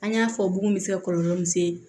An y'a fɔ bugun bɛ se kɔlɔlɔ min se